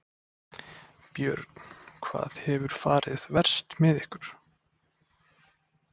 Björn: Hvað hefur farið verst með ykkur?